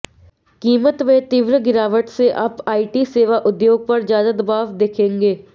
कीमत में तीव्र गिरावट से आप आईटी सेवा उद्योग पर ज्यादा दबाव देखेंगे